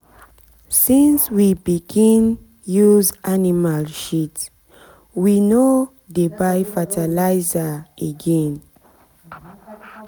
since we begin use animal shit we no shit we no dey buy fertilizer again.